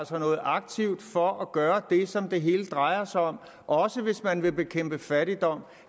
sig noget aktivt for at gøre det som det hele drejer sig om også hvis man vil bekæmpe fattigdom